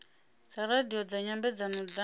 dza radio dza nyambedzano dza